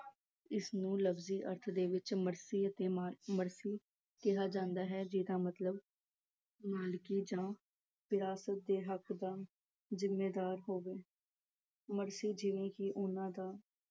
ਇਸਨੂੰ ਲਫ਼ਜੀ ਅਰਥ ਦੇ ਵਿੱਚ ਮਰਾਸੀ ਅਹ ਮਰਾਸੀ ਕਿਹਾ ਜਾਂਦਾ ਹੈ ਜਿਹਦਾ ਮਤਲਬ ਵਿਰਾਸਤ ਦੇ ਹੱਕ ਦਾ ਜਿੰਮੇਦਾਰ ਹੋਵੇ ਮਰਾਸੀ ਜਿਵੇਂ ਕਿ ਉਹਨਾਂ ਦਾ